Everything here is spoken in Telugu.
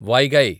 వైగై